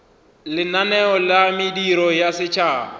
lenaneo la mediro ya setšhaba